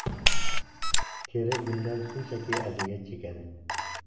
Teri bundan shunchaki aziyat chekadi.